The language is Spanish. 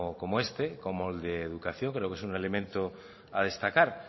como este como el de educación creo que es un elemento a destacar